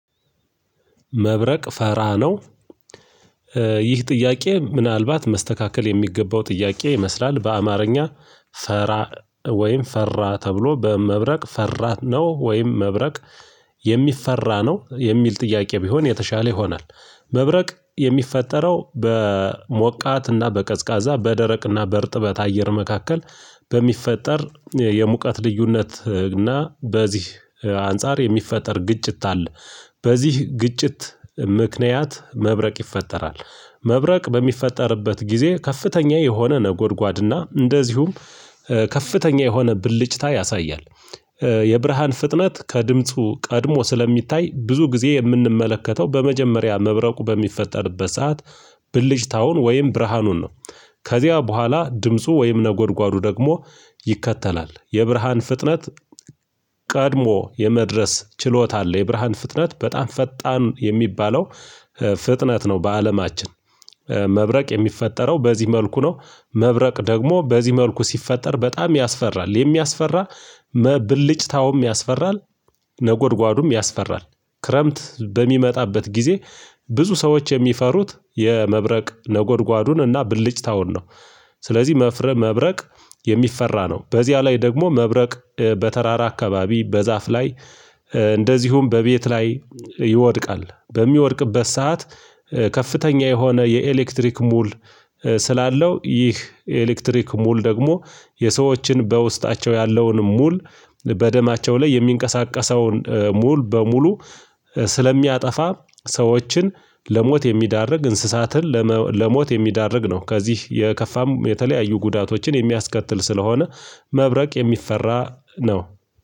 መብረቅ ፈራ ነው። ይህ ጥያቄ ምናልባት መስተካከል የሚገባው ጥያቄ ይመስላል በአማርኛ ፈራ ወይም ፈራ ተብሎ በመብረቅ ፈራ ነው ወይም መብረቅ የሚፈራ ነው የሚል ጥያቄ ቢሆን የተሻለ ይሆናል። መብረቅ የሚፈጠረው በሞቃትና በቀዝቃዛ በደረቅና በእርጥበት አየር መካከል በሚፈጠር የሙቀት ልዩነት እና በዚህ አንፃር የሚፈጠር ግጭት አለ በዚህ ግጭት ምክንያት መብረቅ ይፈጠራል። መብረቅ በሚፈጠርበት ጊዜ ከፍተኛ የሆነ ነጎድጓድና እንደዚሁም ከፍተኛ የሆነ ብልጭታ ያሳያል። የብርሃን ፍጥነት ከድምፁ ቀድሞ ስለሚታይ ብዙ ጊዜ የምንመለከተው በመጀመሪያ መብረቁ በሚፈጠርበት ሰዓት ብልጭታውን ወይም ብርሃኑን ነው። ከዚያ በኋላ ድምፁ ወይም ነጎድጓዱ ደግሞ ይከተላል የብርሃን ፍጥነት። ቀድሞ የመድረስ ችሎታ አለ የብርሃን ፍጥነት በጣም ፈጣን የሚባለው። ፍጥነት ነው በአለማችን። መብረቅ የሚፈጠረው በዚህ መልኩ ነው። መብረቅ ደግሞ በዚህ መልኩ ሲፈጠር በጣም ያስፈራል የሚያስፈራ ብልጭታውም ያስፈራል። ነጎድጓዱም ያስፈራል ክረምት በሚመጣበት ጊዜ ብዙ ሰዎች የሚፈሩት የመብረቅ ነጎድጓዱን እና ብልጭታውን ነው። ስለዚህ መብረቅ የሚፈራ ነው። በዚያ ላይ ደግሞ መብረቅ በተራራ አካባቢ በዛፍ ላይ እንደዚሁም በቤት ላይ ይወድቃል። በሚወድቅበት ሰዓት ከፍተኛ የሆነ የኤሌክትሪክ ሙል ስላለው ይህ ኤሌክትሪክ ሙሉ ደግሞ የሰዎችን በውስጣቸው ያለውን ሙሉ በደማቸው ላይ የሚንቀሳቀሰውን ሙሉ በሙሉ ስለሚያጠፋ ሰዎችን ለሞት የሚያዳርግ እንስሳትን ለሞት የሚያደርግ ነው። ከዚህ የከፋም የተለያዩ ጉዳቶችን የሚያስከትል ስለሆነ። መብረቅ የሚፈራ ነው።